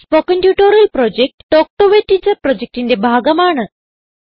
spoken tutorial project talk to a teacher പ്രൊജക്റ്റിന്റെ ഭാഗമാണ്